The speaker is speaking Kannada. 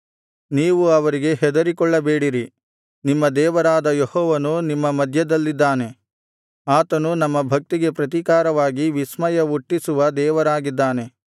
ನೀವು ಅವರಿಗೆ ಹೆದರಿಕೊಳ್ಳಬೇಡಿರಿ ನಿಮ್ಮ ದೇವರಾದ ಯೆಹೋವನು ನಿಮ್ಮ ಮಧ್ಯದಲ್ಲಿದ್ದಾನೆ ಆತನು ನಮ್ಮ ಭಕ್ತಿಗೆ ಪ್ರತಿಕಾರವಾಗಿ ವಿಸ್ಮಯ ಹುಟ್ಟಿಸುವ ದೇವರಾಗಿದ್ದಾನೆ